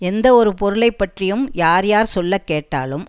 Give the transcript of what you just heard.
எந்த ஒரு பொருளை பற்றியும் யார் யார் சொல்ல கேட்டாலும்